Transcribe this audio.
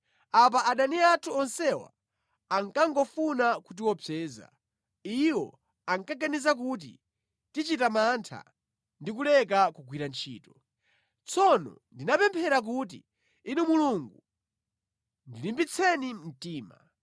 Apa adani athu onsewa ankangofuna kutiopseza. Iwo ankaganiza kuti “Tichita mantha ndi kuleka kugwira ntchito.” Tsono ndinapemphera kuti, “Inu Mulungu ndilimbitseni mtima.”